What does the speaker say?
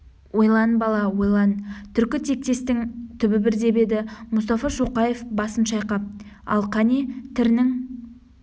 ойлан бала ойлан түркі тектестің түбі бір деп еді мұстафа шоқаев басын шайқап ал кәне тірінің